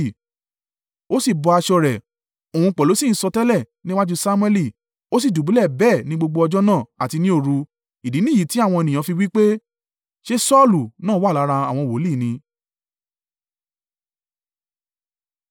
Ó sì bọ́ aṣọ rẹ̀, òun pẹ̀lú sì ń sọtẹ́lẹ̀ níwájú Samuẹli. Ó sì dùbúlẹ̀ bẹ́ẹ̀ ní gbogbo ọjọ́ náà àti ní òru. Ìdí nìyìí tí àwọn ènìyàn fi wí pé, “Ṣé Saulu náà wà lára àwọn wòlíì ni?”